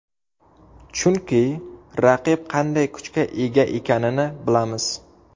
Chunki raqib qanday kuchga ega ekanini bilamiz”.